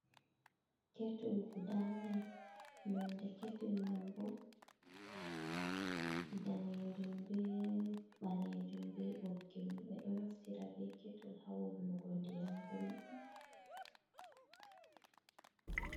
Ketul gudanai nonde ketul man bo, danejum be ɓalejum be boggi mum, ɓeɗo naftira be ketul hawulnugo ndiyam gulɗum.